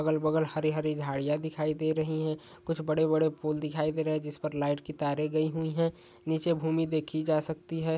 अगल बगल हरी हरी झाड़ियाँ दिखाई दे रही है कुछ बड़े बड़े पूल दिखाई दे रहे है जिस पर लाइट की तारे गई हुई है नीचे भूमि देखि जा सकती है।